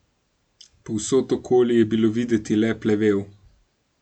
Povsod okoli je bilo videti le plevel.